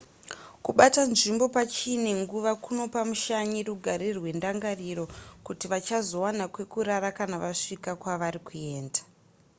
kubata nzvimbo pachine nguva kunopa mushanyi rugare rwendangariro kuti vachazowana kwekurara kana vasvika kwavari kuenda